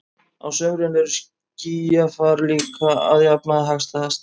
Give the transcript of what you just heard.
Á sumrin er skýjafar líka að jafnaði hagstæðast.